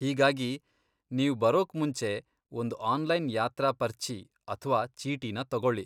ಹೀಗಾಗಿ, ನೀವ್ ಬರೋಕ್ ಮುಂಚೆ ಒಂದ್ ಆನ್ಲೈನ್ ಯಾತ್ರಾ ಪರ್ಚಿ ಅಥ್ವಾ ಚೇಟಿನ ತಗೊಳಿ.